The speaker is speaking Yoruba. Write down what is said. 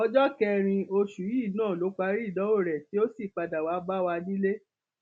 ọjọ kẹrin oṣù yìí náà ló parí ìdánwò rẹ tí ó sì padà wàá bá wa nílé